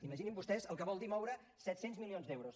imaginin vostès el que vol dir moure set cents milions d’euros